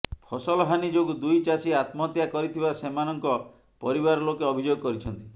ଫସଲହାନି ଯୋଗୁଁ ଦୁଇ ଚାଷୀ ଆତ୍ମହତ୍ୟା କରିଥିବା ସେମାନଙ୍କ ପରିବାର ଲୋକେ ଅଭିଯୋଗ କରିଛନ୍ତି